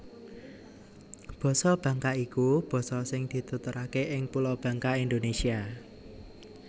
Basa Bangka iku basa sing dituturaké ing Pulo Bangka Indonésia